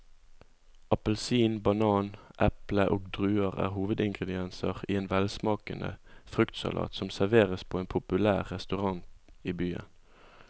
Appelsin, banan, eple og druer er hovedingredienser i en velsmakende fruktsalat som serveres på en populær restaurant i byen.